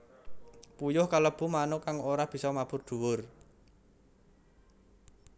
Puyuh kalebu manuk kang ora bisa mabur dhuwur